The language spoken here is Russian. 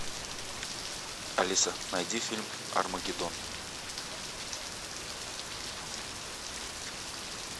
алиса найди фильм армагеддон